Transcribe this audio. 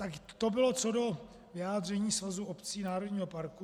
Tak to bylo co do vyjádření Svazu obcí národního parku.